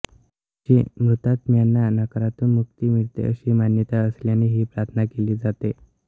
या दिवशी मृतात्म्यांना नरकातून मुक्ती मिळते अशी मान्यता असल्याने ही प्रार्थना केली जाते